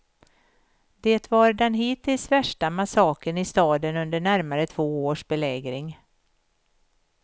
Det var den hittills värsta massakern i staden under närmare två års belägring.